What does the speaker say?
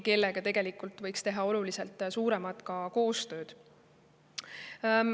Nendega tegelikult võiks teha oluliselt rohkemat koostööd.